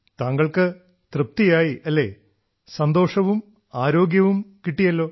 താങ്കൾക്ക് തൃപ്തിയായി അല്ലേ സന്തോഷവും ആരോഗ്യവും കിട്ടിയല്ലോ